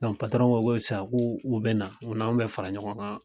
ko ko sisan k'u bɛna u n'anw bɛ fara ɲɔgɔn kan.